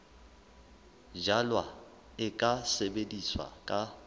jalwa e ka sebetswa ka